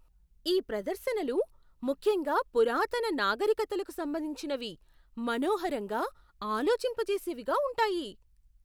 ఈ ప్రదర్శనలు, ముఖ్యంగా పురాతన నాగరికతలకు సంబంధించినవి, మనోహరంగా, ఆలోచింపజేసేవిగా ఉంటాయి.